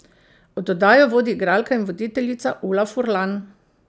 Oddajo vodi igralka in voditeljica Ula Furlan.